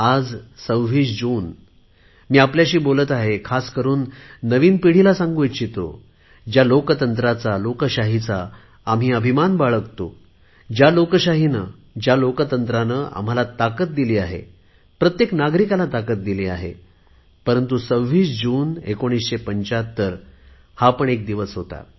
आज 26 जून आहे मी आज आपल्याशी बोलत आहे खासकरुन नवीन पिढीला सांगू इच्छितो ज्या लोकशाहीचा आम्ही अभिमान बाळगतो ज्या लोकशाहीने आम्हाला खूप मोठी ताकद दिली आहे प्रत्येक नागरिकाला मोठी ताकद दिली आहे परंतु 26 जून 1975 हा पण एक दिवस होता